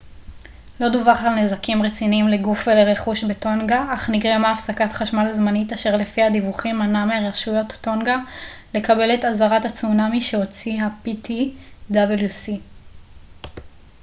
לא דווח על נזקים רציניים לגוף ולרכוש בטונגה אך נגרמה הפסקת חשמל זמנית אשר לפי הדיווחים מנעה מרשויות טונגה לקבל את אזהרת הצונאמי שהוציא ה־ptwc